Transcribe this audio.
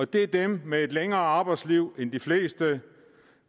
det er dem med et længere arbejdsliv end de fleste